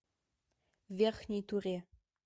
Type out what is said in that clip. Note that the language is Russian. верхней туре